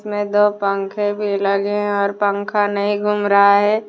में दो पंखे भी लगे हैं और पंखा नहीं घूम रहा है।